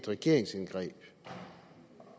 regeringsindgreb